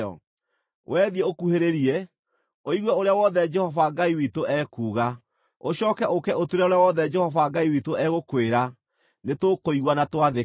Wee thiĩ ũkuhĩrĩrie, ũigue ũrĩa wothe Jehova Ngai witũ ekuuga. Ũcooke ũũke ũtwĩre ũrĩa wothe Jehova Ngai witũ egũkwĩra. Nĩtũkũigua na twathĩke.”